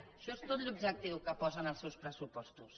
això és tot l’objectiu que posa en els seus pressupostos